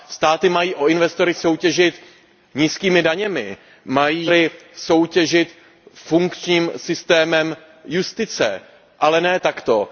Státy mají o investory soutěžit nízkými daněmi, mají o investory soutěžit funkčním systémem justice, ale ne takto.